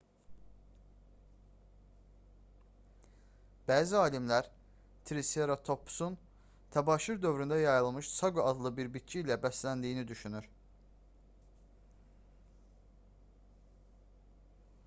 bəzi alimlər triseratopsun təbəşir dövründə yayılmış saqo adlı bir bitki ilə bəsləndiyini düşünür